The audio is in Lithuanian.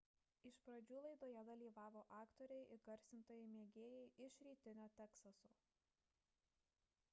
iš pradžių laidoje dalyvavo aktoriai įgarsintojai mėgėjai iš rytinio teksaso